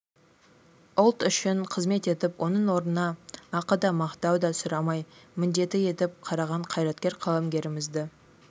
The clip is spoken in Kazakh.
ұлт үшін қызмет етіп оның орнына ақы да мақтау да сұрамай міндеті етіп қараған қайраткер қаламгерлерімізді